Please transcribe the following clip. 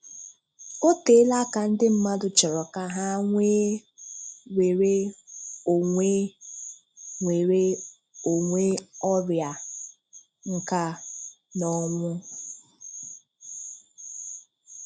O teela aka ndị mmadụ chọrọ ka ha nwee nwéré onwe nwéré onwe ọrịa, nká, na ọnwụ.